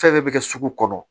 Fɛn bɛɛ bɛ kɛ sugu kɔnɔ